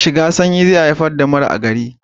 Shiga sanyi zai haifar da mura a gari